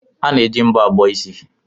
A na-eji mbọ abọ isi.